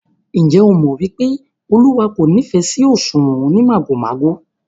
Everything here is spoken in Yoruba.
Ǹjẹ́ ẹ mọ̀ wípé Olúwa kò nífẹ̀ sí òṣùwọ̀n onímàgòmágò?